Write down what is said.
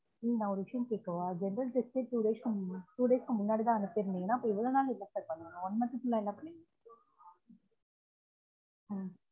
சரி நான் ஒரு விசயம் கேட்கவா general test ஷே இப்ப two day two days க்கு முன்னாடி தான் அனுப்பிருந்தீங்கனா அப்ப இவ்ளொ நாள் என்ன பண்ணணு one month full ல என்ன பண்ணிங்க